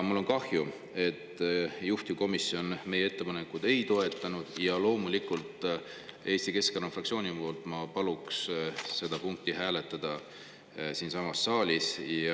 Mul on kahju, et juhtivkomisjon meie ettepanekut ei toetanud, ja loomulikult, Eesti Keskerakonna fraktsiooni nimel ma palun seda punkti hääletada siinsamas saalis.